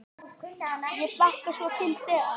Ég hlakkar svo til þegar.